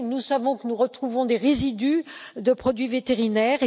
Nous savons que nous retrouvons des résidus de produits vétérinaires.